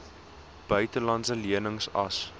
buitelandse lenings as